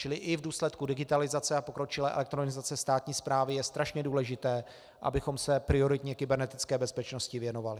Čili i v důsledku digitalizace a pokročilé elektronizace státní správy je strašně důležité, abychom se prioritně kybernetické bezpečnosti věnovali.